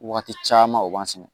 Waati caman u b'an sɛnɛ